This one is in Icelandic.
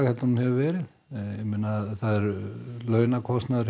en hún hefur verið launakostnaður